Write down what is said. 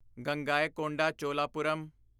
Gangaikonda Cholapuram